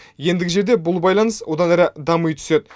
ендігі жерде бұл байланыс одан әрі дами түседі